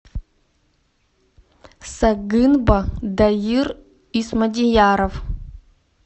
сагынба дайыр исмадияров